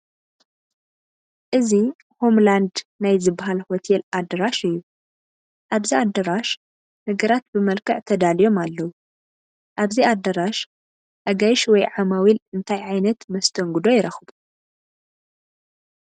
እዚ ሆም ላንድ ናይ ዝበሃል ሆቴል ኣዳራሽ እዩ፡፡ ኣብዚ ኣዳራሽ ነገራት ብመልክዕ ተዳልዮም ኣለዉ፡፡ ኣብዚ ኣዳራሽ ኣጋይሽ ወይ ዓማዊል እንታይ ዓይነት መስተንግዶ ይረኽቡ?